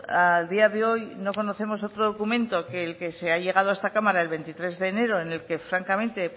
a día de hoy no conocemos otro documento que el que se ha llegado a esta cámara el veintidós de enero en el que francamente